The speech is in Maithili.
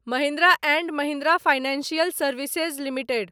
Mahindra and Mahindra financial services limited